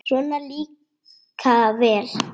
Svona líka vel!